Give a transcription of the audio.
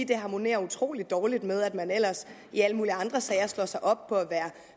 det harmonerer utrolig dårligt med at man ellers i alle mulige andre sager slår sig op på